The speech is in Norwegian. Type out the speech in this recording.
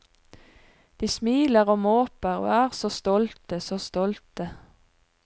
De smiler og måper og er så stolte, så stolte.